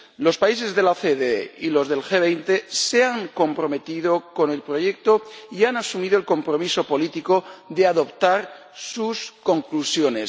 Los países de la OCDE y los del G 20 se han comprometido con el proyecto y han asumido el compromiso político de adoptar sus conclusiones.